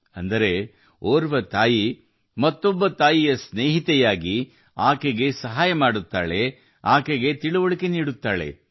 ಅಂದರೆ ಒಬ್ಬ ತಾಯಿ ಇನ್ನೊಬ್ಬ ತಾಯಿಗೆ ಸ್ನೇಹಿತೆಯಾಗುತ್ತಾಳೆ ಅವಳಿಗೆ ಸಹಾಯ ಮಾಡುತ್ತಾಳೆ ಮತ್ತು ಕಲಿಸುತ್ತಾಳೆ